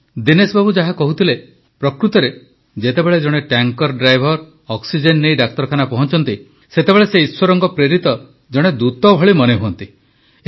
ବନ୍ଧୁଗଣ ଦିନେଶ ବାବୁ ଯାହା କହୁଥିଲେ ପ୍ରକୃତରେ ଯେତେବେଳେ ଜଣେ ଟ୍ୟାଙ୍କର ଡ୍ରାଇଭର ଅକ୍ସିଜେନ ନେଇ ଡାକ୍ତରଖାନା ପହଞ୍ଚନ୍ତି ସେତେବେଳେ ସେ ଈଶ୍ୱରଙ୍କ ପ୍ରେରିତ ଜଣେ ଦୂତ ଭଳି ମନେ ହୁଅନ୍ତି